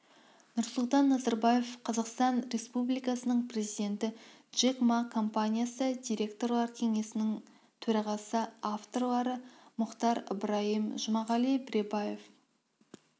нұрсұлтан назарбаев қазақстан республикасының президенті джек ма компаниясы директорлар кеңесінің төрағасы авторлары мұхтар ыбырайым жұмағали біргебаев